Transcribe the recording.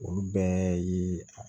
Olu bɛɛ ye